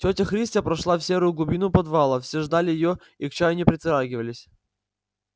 тётя христя прошла в серую глубину подвала все ждали её и к чаю не притрагивались